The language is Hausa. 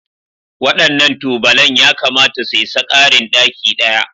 Waɗannan tubalan yakamata su isa ƙarin ɗaki ɗaya